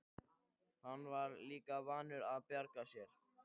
Hann var líka vanur að bjarga sér.